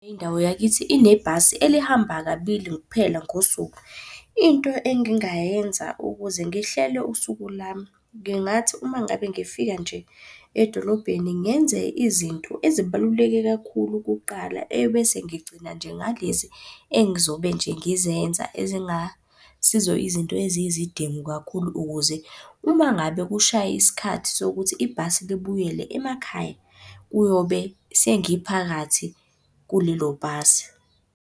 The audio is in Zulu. Indawo yakithi inebhasi elihamba kabili kuphela ngosuku. Into engingayenza ukuze ngihlele usuku lami, ngingathi uma ngabe ngifika nje edolobheni ngenze izinto ezibaluleke kakhulu kuqala, ebese ngigcina nje ngalezi engizobe nje ngizenza ezingasizo izinto ezizidingo kakhulu. Ukuze uma ngabe kushaya isikhathi sokuthi ibhasi libuyele emakhaya, kuyobe sengiphakathi kulelo bhasi.